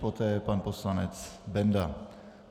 Poté pan poslanec Benda.